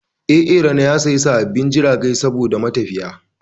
A A RANO ya siya sababbin jiragai saboda matafiya